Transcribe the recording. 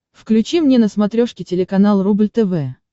включи мне на смотрешке телеканал рубль тв